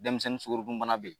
Denmisɛnnin sukoro dun bana bɛ yen.